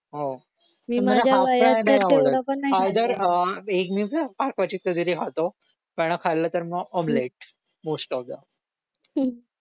हो पण मला हाफ फ्राय नाही आवडत आयदर अह हाफ क्वचित कधीतरी खातो पण खाल्लं तर आमलेट मोस्ट ऑफ द